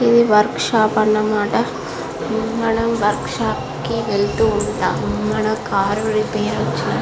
ఇది workshop అనమాట మనము వర్క్ షాప్ కి వెళ్తూ ఉంటాము మన కార్ రిపేర్ వచ్చినపుడు.